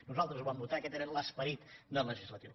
nosaltres ho vam votar aquest era l’esperit del legislatiu